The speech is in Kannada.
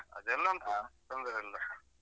ಅದೆಲ್ಲ ಉಂಟು ತೊಂದ್ರೆ ಇಲ್ಲ.